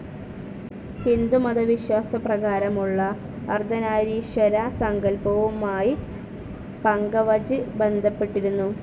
ഹിന്ദുമത വിശ്വാസപ്രകാരമുള്ള അർദ്ധനാരീശ്വര സങ്കല്പവുമായ് പഘാവജ് ബന്ധപ്പെട്ടിരിക്കുന്നു.